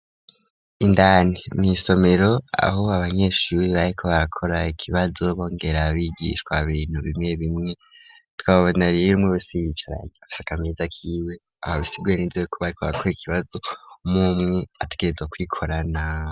Indani mw'isomero aho abanyeshure bariko barakora ikibazo bongera bigishwa ibintu bimwe bimwe tukababona rero umwe wese yiyicaranye afise akameza kiwe aho bisiguye nez yuko bariko barakora ikibazo umwumwe ategerezwa kwikorana.